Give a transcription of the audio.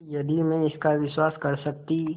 यदि मैं इसका विश्वास कर सकती